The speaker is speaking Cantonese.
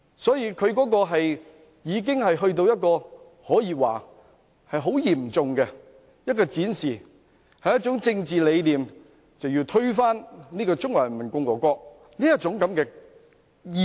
所以，他的行為可說是嚴重地展示出他的政治理念，讓我看到一種要推翻中華人民共和國的意識。